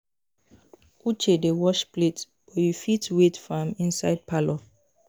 Uche dey wash plate but you fit wait for am inside parlour